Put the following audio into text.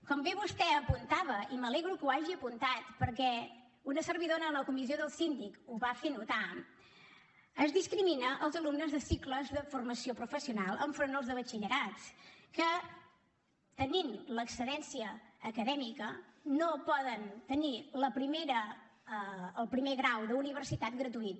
com bé vostè apuntava i m’alegro que ho hagi apuntat perquè una servidora en la comissió del síndic ho va fer notar es discrimina els alumnes de cicles de formació professional enfront els de batxillerat que tenint l’excel·lència acadèmica no poden tenir el primer grau d’universitat gratuït